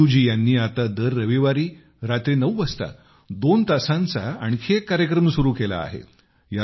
सेदूजी यांनी आता दर रविवारी रात्री नऊ वाजतादोन तासांचा आणखी एक कार्यक्रम सुरू केला आहे